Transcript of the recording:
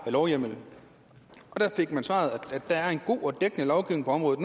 lovhjemmel og da fik jeg svaret at der nu er en god og dækkende lovgivning på området